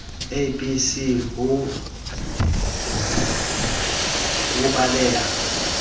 a b c ho belaela